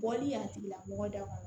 Bɔli y'a tigila mɔgɔ daw